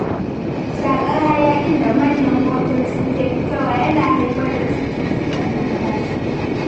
Shaƙar hayakin da manyan motoci ke fitarwa yana haifar da cututtukan numfashi.